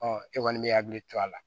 Ɔ e kɔni bɛ hakili to a la